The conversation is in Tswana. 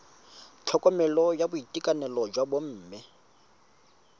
tlhokomelo ya boitekanelo jwa bomme